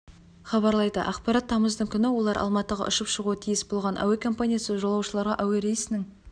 хабарлайды ақпарат тамыздың күні олар алматыға ұшып шығуы тиіс болған әуе компаниясы жолаушыларға әуе рейсінің